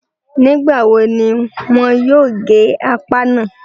Nígbà wo ni wọn yóò gé apá náà?